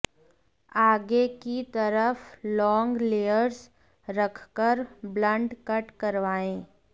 आगे की तरफ लॉन्ग लेयर्स रखकर ब्लंट कट करवाएं